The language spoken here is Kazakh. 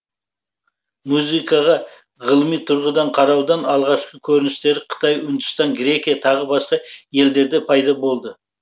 музыкаға ғылыми тұрғыдан қараудың алғашқы көріністері қытай үндістан грекия тағы басқа елдерде пайда болды